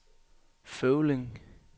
Føvling